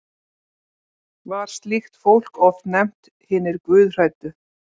Var slíkt fólk oft nefnt hinir guðhræddu.